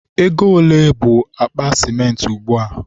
ego ole bụ akpa sịmentị ugbua?